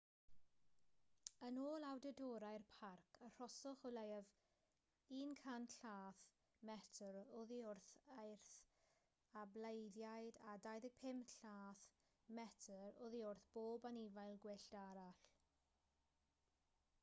yn ôl awdurdodau'r parc arhoswch o leiaf 100 llath/metr oddi wrth eirth a bleiddiaid a 25 llath/metr oddi wrth bob anifail gwyllt arall